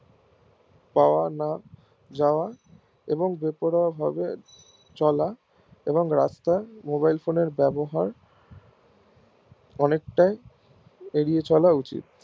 পাওয়া না যাওয়া এবং বেপরোয়া ভাবে চলা এবং রাস্তায় mobile phone এর ব্যবহার অনেক তাই এরিয়া চলা উচিত